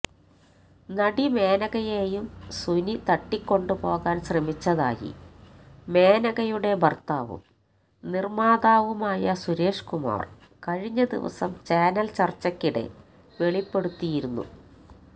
നടി മേനകയെയും സുനി തട്ടിക്കൊണ്ടുപോകാന് ശ്രമിച്ചതായി മേനകയുടെ ഭര്ത്താവും നിര്മ്മാതാവുമായ സുരേഷ്കുമാര് കഴിഞ്ഞദിവസം ചാനല് ചര്ച്ചയ്ക്കിടെ വെളിപ്പെടുത്തിയിരുന്നു